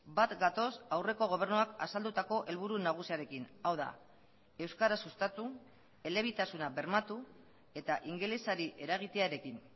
bat gatoz aurreko gobernuak azaldutako helburu nagusiarekin hau da euskara sustatu elebitasuna bermatu eta ingelesari eragitearekin